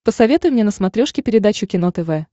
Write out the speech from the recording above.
посоветуй мне на смотрешке передачу кино тв